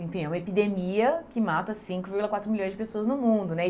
Enfim, é uma epidemia que mata cinco vírgula quatro milhões de pessoas no mundo, né?